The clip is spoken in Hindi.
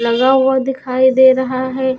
लगा हुआ दिखाई दे रहा है।